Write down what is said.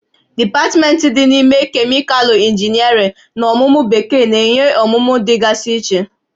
Dipatmentị dị n'ime Kemịkalụ Injiniarịn na ọmụmụ Bekee na-enye ọmụmụ dị gasị iche